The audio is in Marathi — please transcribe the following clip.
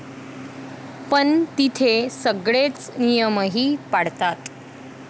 पण तिथे सगळेच नियमही पाळतात.